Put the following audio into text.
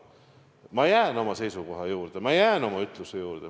Ma jään oma seisukoha juurde, ma jään oma ütluse juurde.